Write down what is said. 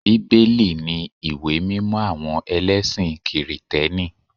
Bíbélì ni ìwé mímọ àwọn ẹlẹ́sìn kìrìtẹ́nì